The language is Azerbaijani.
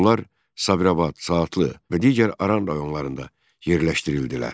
Onlar Sabirabad, Saatlı və digər Aran rayonlarında yerləşdirildilər.